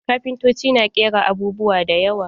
Kafintotoci na ƙera abubuwa da yawa.